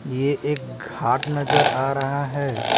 ये एक घाट नजर आ रहा हैं।